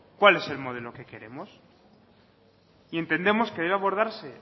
cuál es el modelo que queremos y entendemos que debe abordarse